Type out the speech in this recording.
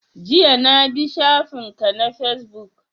Jiya na bi shafin ka na Fesbook